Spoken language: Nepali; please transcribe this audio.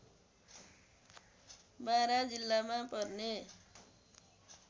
बारा जिल्लामा पर्ने